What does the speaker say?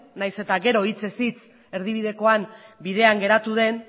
nahiz eta gero hitzez hitz erdibidekoan bidean geratu den